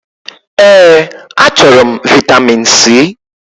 Èé, achọrọ m vị́tamin C.